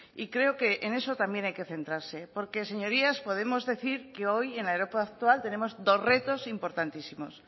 y creo que en eso también hay que centrarse porque señorías podemos decir que hoy en la europa actual tenemos dos retos importantísimos